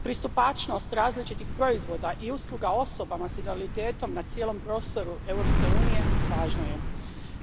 Pristupačnost različitih proizvoda i usluga osobama s invaliditetom na cijelom prostoru Europske unije važno je,